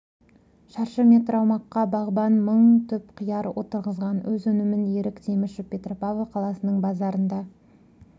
шаршы метр аумаққа бағбан мың түп қияр отырғызған өз өнімін ерік темішев петропавл қаласының базарында